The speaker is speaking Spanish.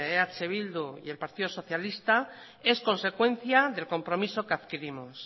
eh bildu y el partido socialista es consecuencia del compromiso que adquirimos